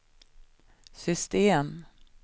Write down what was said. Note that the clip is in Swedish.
system